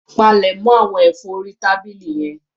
Palẹ̀mọ̀ àwọn ẹ̀fọ́ orí tábìlì yẹn.